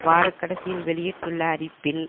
வாரக்கடைசியில் வெளியிட்டுள்ள அறிப்பில்